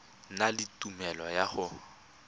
na le tumelelo ya go